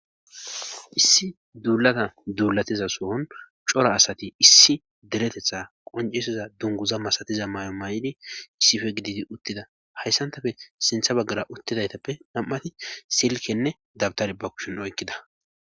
Issi duulata duulatiza sohon cora asati issi deretetha qoncisiza dunguza masatiza may'o may'di sife gididi uttida hayssantafe sintha baggara uttidaytappe nam'ati silkenne dabtar ba kushin oykkida.